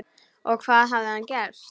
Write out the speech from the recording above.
Og hvað hafði hann gert?